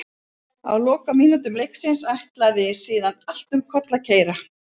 Á lokamínútum leiksins ætlaði síðan allt um koll að keyra.